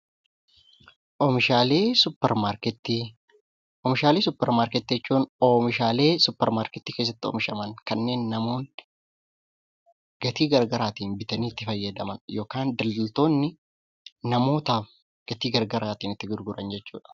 Oomishaalee suupermaarkeetii Oomishaalee suupermaarkeetii jechuun oomishaalee suupermaarkeetii keessatti oomishaman kanneen namoonni gatii garaagaraan bitanii itti fayyadaman yookaan hojjetoonni namootaaf gatii garaagaraan itti gurguran jechuudha.